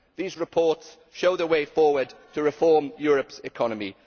These reports show the way forward to reforming Europe's economy.